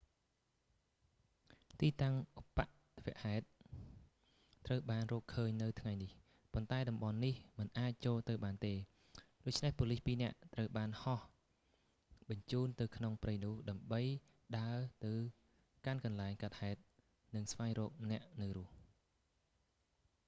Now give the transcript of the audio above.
ទីតាំងឧប្បត្តិហេតុត្រូវបានរកឃើញនៅថ្ងៃនេះ ប៉ុន្តែតំបន់នេះមិនអាចចូលទៅបានទេ ដូច្នេះប៉ូលីសពីរនាក់ត្រូវបានហោះបញ្ជូនទៅក្នុងព្រៃនោះ ដើម្បីដើរទៅកាន់កន្លែងកើតហេតុ និងស្វែងរកអ្នកនៅរស់